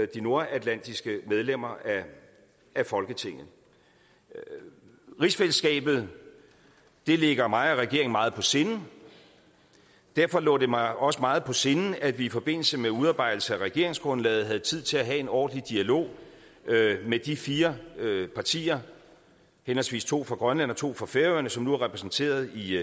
de nordatlantiske medlemmer af folketinget rigsfællesskabet ligger mig og regeringen meget på sinde derfor lå det mig også meget på sinde at vi i forbindelse med udarbejdelsen af regeringsgrundlaget havde tid til at have en ordentlig dialog med de fire partier henholdsvis to fra grønland og to fra færøerne som nu er repræsenteret i